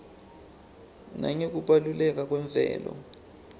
nangekubaluleka kwemvelo